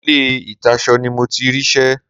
Ilé ìtasọ ni mo ti rí ṣẹ́.